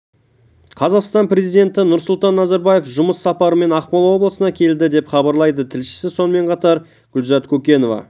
қазақстан президенті нұрсұлтан назарбаев жұмыс сапарымен ақмола облысына келді деп хабарлайды тілшісі сонымен қатар гүлзат көкенова